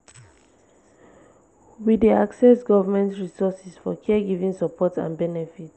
we dey access government resources for care giving support and benefit.